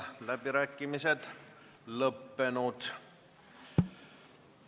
Läbirääkimised on lõppenud.